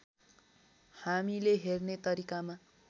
हामीले हेर्ने तरिकामा